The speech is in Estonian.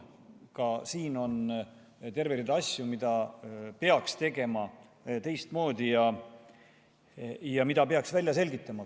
Ka siin on terve rida asju, mida peaks tegema teistmoodi ja mida peaks välja selgitama.